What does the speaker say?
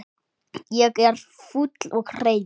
Ég er fúll og reiður.